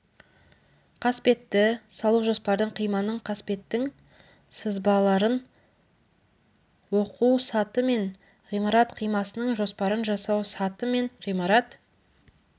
қасбетті салу жоспардың қиманың қасбеттің сызбаларын оқу саты мен ғимарат қимасының жоспарын жасау саты мен ғимарат